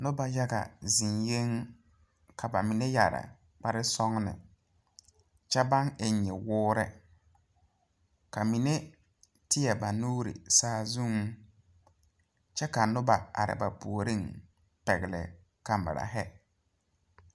Nobɔ yaga zeŋyɛŋ ka ba mine yɛre kparesɔgne kyɛ baŋ eŋ nyɛwoore ka mine tēɛ ba nuure saazuŋ kyɛ ka nobɔ are ba puoriŋ pɛgle kamirahi.